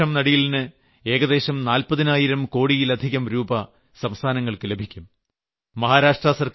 ഇതിലൂടെ വൃക്ഷം നടീലിന് ഏകദേശം നാല്പതിനായിരം കോടിയിൽ അധികം രൂപ സംസ്ഥാനങ്ങൾക്ക് ലഭിക്കും